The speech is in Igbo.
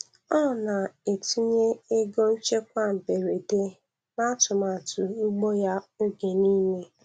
Ọ na-etinye ego nchekwa mberede, n’atụmatụ ugbo ya oge niile.